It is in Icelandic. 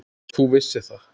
Og þú vissir það.